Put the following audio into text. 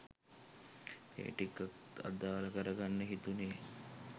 ඒ ටිකත් අදාල කර ගන්න හිතුනෙ.